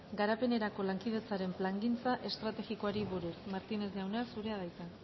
garapenerako lankidetzaren plangintza estrategikoari buruz martínez jauna zurea da hitza